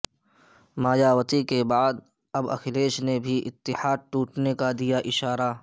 مایاوتی کے بعد اب اکھلیش نے بھی اتحاد ٹوٹنے کا دیا اشارہ